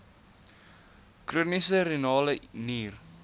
chroniese renale nier